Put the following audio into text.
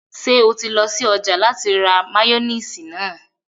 Ṣé o ti lọ sí ọjà láti ra máyóníìsì náà?